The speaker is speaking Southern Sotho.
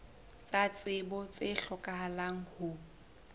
tsa tsebo tse hlokahalang ho